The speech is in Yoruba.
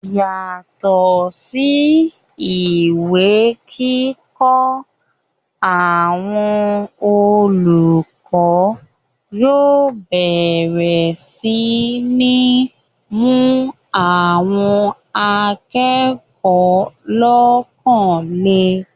yàtọ̀ sí ìwé kíkọ́, àwọn olùkọ́ yóò bẹ̀rẹ̀ sí ní mú àwọn akẹ́kọ̀ọ́ lọ́kàn le